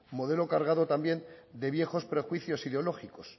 modelo cargado también de viejos prejuicios ideológicos